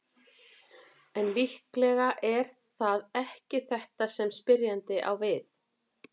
En líklega er það ekki þetta sem spyrjandi á við.